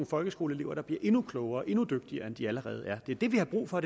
folkeskoleelever bliver endnu klogere og endnu dygtigere end de allerede er det er det vi har brug for